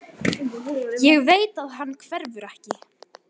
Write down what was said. Ég veit að hann hverfur ekki.